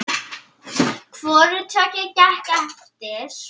Hvoru tveggja gekk eftir.